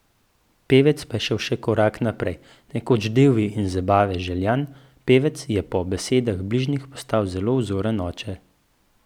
Pevec pa je šel še korak naprej, nekoč divji in zabave željan pevec, je po besedah bližnjih postal zelo vzoren oče.